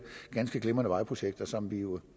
ganske glimrende vejprojekter som vi jo